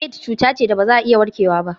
Aids cuta ce da ba za a iya warkewa ba.